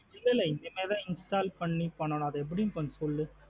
இல்லா லா இனிமே தான் install பண்ணி பண்ணும். அது எப்டின்னு கொஞ்சம் சொல்லு?